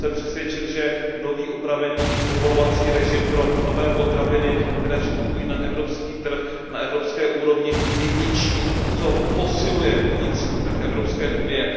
Jsem přesvědčen, že nový upravený povolovací režim pro nové potraviny, které vstupují na evropský trh, na evropské úrovni je něčím, co posiluje vnitřní trh Evropské unie.